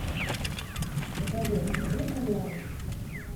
завод смотреть онлайн